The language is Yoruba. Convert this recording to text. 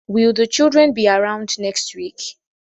Will the children be around next week?